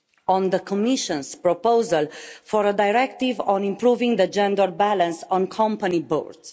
on the Commission's proposal for a directive on improving the gender balance on company boards.